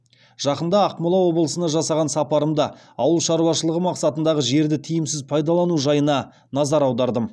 жақында ақмола облысына жасаған сапарымда ауыл шаруашылығы мақсатындағы жерді тиімсіз пайдалану жайына назар аудардым